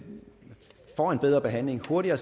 burde jo